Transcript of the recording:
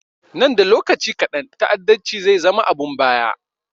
Nan da lokaci kaɗan ta'addanci zai zama abun baya